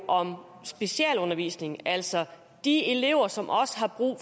om specialundervisning altså de elever som også har brug